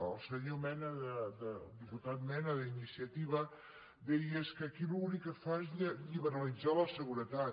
el senyor mena el diputat mena d’iniciativa deia és que aquí l’únic que fa és liberalitzar la seguretat